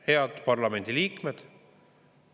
Head parlamendiliikmed!